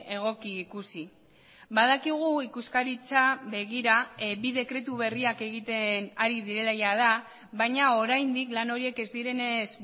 egoki ikusi badakigu ikuskaritza begira bi dekretu berriak egiten ari direla jada baina oraindik lan horiek ez direnez